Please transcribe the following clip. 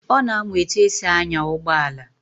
Ọ na-amụ etu esi anya ụgbọala